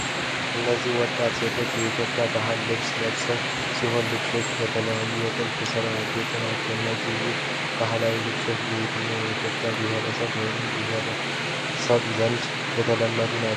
እነዚህ ወጣት ሴቶች የኢትዮጵያን ባህላዊ ልብሶች የለበሱ ሲሆን፣ ልብሶቹም በልዩ የጥልፍ ሥራ ያጌጡ ናቸው። እነዚህ ውብ ባህላዊ ልብሶች በየትኛው የኢትዮጵያ ብሔር ወይም ብሔረሰብ ዘንድ የተለመዱ ናቸው?